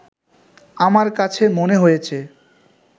আমার কাছে মনে হয়েছে